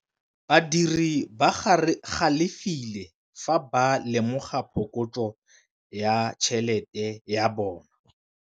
Badiri ba galefile fa ba lemoga phokotsô ya tšhelête ya bone.